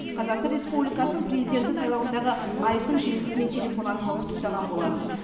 қазақстан республикасының президенті сайлауындағы айқын жеңісімен телефон арқылы құттықтаған болатын